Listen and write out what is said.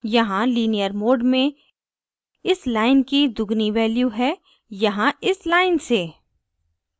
यहाँ linear mode में इस line की दुगुनी value है यहाँ इस line से